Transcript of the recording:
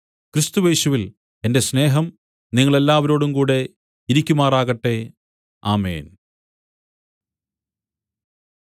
ക്രിസ്തുയേശുവിൽ എന്റെ സ്നേഹം നിങ്ങളെല്ലാവരോടുംകൂടെ ഇരിക്കുമാറാകട്ടെ ആമേൻ